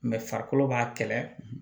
farikolo b'a kɛlɛ